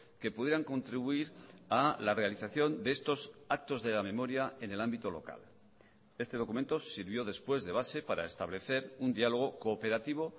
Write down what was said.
que pudieran contribuir a la realización de estos actos de la memoria en el ámbito local este documento sirvió después de base para establecer un diálogo cooperativo